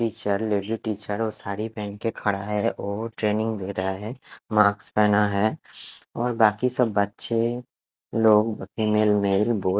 teacher lady teacher वो साड़ी पहन के खड़ा है और ट्रेनिंग दे रहा है माक्स पहना है और बाकी सब बच्चे लोग फीमेल मेल बोथ --